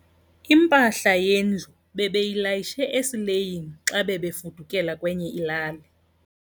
Impahla yendlu bebeyilayishe esileyini xa bebefudukela kwenye ilali.